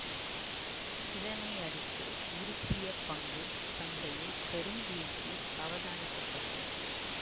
இதனையடுத்து உருசிய பங்கு சந்தையில் பெரும் வீழ்ச்சி அவதானிக்கப்பட்டது